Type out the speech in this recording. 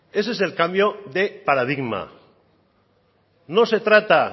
ese es el cambio de paradigma no se trata